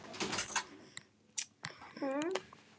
Jón Kári.